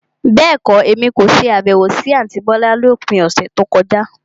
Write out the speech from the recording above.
Bẹ́ẹ̀kọ́, Èmi kò ṣe Àbẹ̀wò sí àntí bọ́lá lópin ọ̀sẹ̀ tí ó kọjá.